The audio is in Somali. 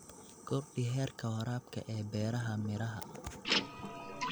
Kordhi heerka waraabka ee beeraha miraha.